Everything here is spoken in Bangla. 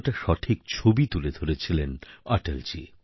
কতটা সঠিক ছবি তুলে ধরেছিলেন অটলজী